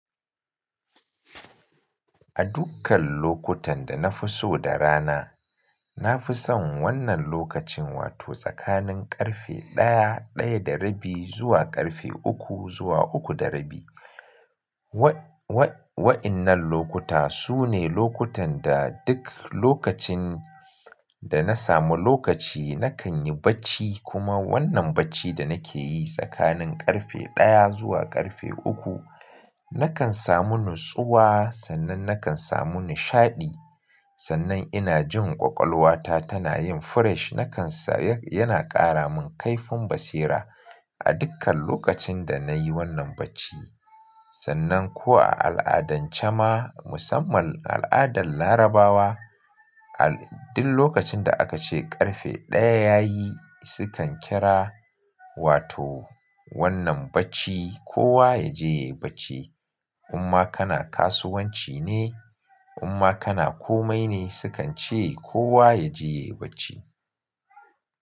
A dukkan lokutan da na fi so da rana, na fi son wannan lokacin wato tsakanin ƙarfe ɗaya, ɗaya da rabi zuwa ƙarfe uku zuwa uku da rabi. Wa-wa-wa'innan lokuta su ne lokutan da duk lokacin da na samu lokaci nakan yi bacci kuma wannan bacci da nake yi tsakanin ƙarfe ɗaya zuwa ƙarfe uku, nakan samu natsuwa sannan nakan samu nishaɗi. Sannan ina jin ƙwaƙwalwata tana yin fresh nakan sa yana ƙara min kaifin basira a dukkan lokacin da na yi wannan bacci. Sannan kuwa a al'adance ma musamman al'adar Larabawa, al-- duk lokacin da aka ce ƙarfe ɗaya ya yi su kan kira wato wannan bacci kowa ya je ya yi bacci. Amma kana kasuwanci ne, amma kana komai ne su kan ce kowa ya je ya yi bacci.